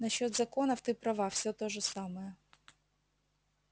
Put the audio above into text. насчёт законов ты права все то же самое